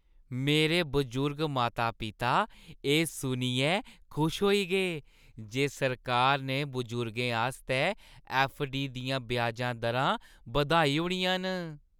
मेरे बजुर्ग माता-पिता एह् सुनियै खुश होई गे जे सरकार ने बजुर्गें आस्तै ऐफ्फ.डी. दियां ब्याजां दरां बधाई ओड़ियां न।